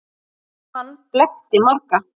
Hann blekkti marga.